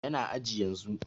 Yana aji yanzun